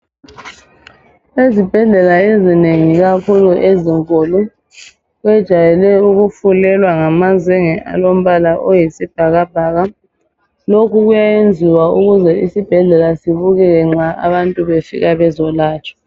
Ezibhedlela ezinengi ikakhulu ezinkulu kwejayele ukufulelwa ngamazenge alombala oyisibhakabhaka. Lokhu kuyayenziwa ukuze isibhedlela sibukeke nxa abantu befika bezolatshwa.